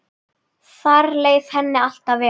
Þar leið henni alltaf vel.